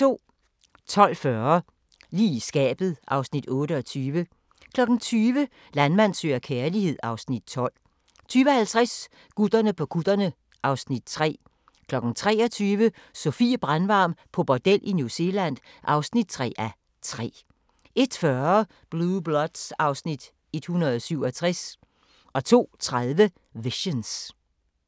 12:40: Lige i skabet (Afs. 28) 20:00: Landmand søger kærlighed (Afs. 12) 20:50: Gutterne på kutterne (Afs. 3) 23:00: Sofie Brandvarm på bordel i New Zealand (3:3) 01:40: Blue Bloods (Afs. 167) 02:30: Visions